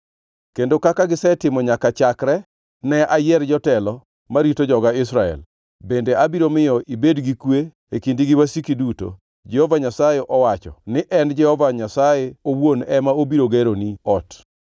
kendo kaka gisetimo nyaka chakre ne ayier jotelo marito joga Israel. Bende abiro miyo ibed gi kwe e kindi gi wasiki duto. “ ‘Jehova Nyasaye owacho ni en Jehova Nyasaye owuon ema obiro geroni ot.